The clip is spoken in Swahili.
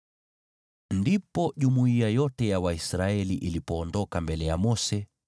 Ndipo jumuiya yote ya Waisraeli ilipoondoka mbele ya Mose,